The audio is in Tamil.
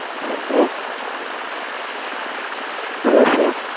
hello sir hello sir